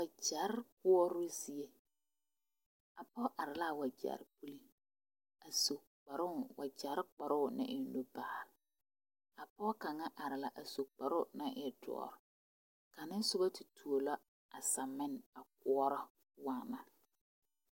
Wagyere koɔrɔ zie a pɔge are la a wagyere puli a su kparoo wagyere kparoo ne elobaa a pɔge kaŋa are la a su karoo naŋ e doɔre kaŋa soba te tuo la a samine a koɔrɔ waana.